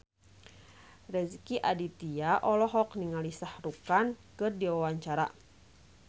Rezky Aditya olohok ningali Shah Rukh Khan keur diwawancara